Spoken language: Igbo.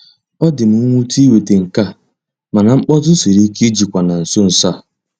Ọ dị m nwute iweta nke a, mana mkpọtụ siri ike ijikwa na nso nso a.